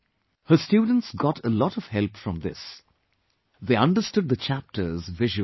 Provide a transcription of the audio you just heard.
Her students got a lot of help from this; they understood the chapters visually